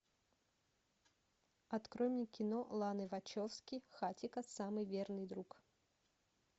открой мне кино ланы вачовски хатико самый верный друг